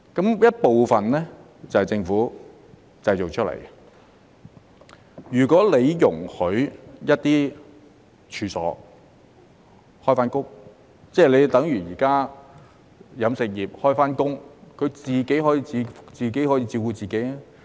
這些問題部分是政府製造出來的，如果容許一些處所重開，例如現時飲食業重開，自己可以照顧自己。